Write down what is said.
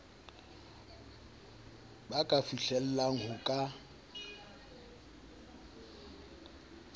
ba ka fihlellang ho ka